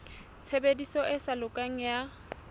tshebediso e sa lokang ya